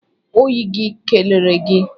Oyi gị kelere gi